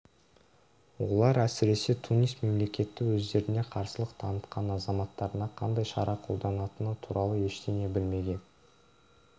олар әсіресе тунис мемлекеті өздеріне қарсылық танытқан азаматтарына қандай шара қолданатыны туралы ештеңе білмеген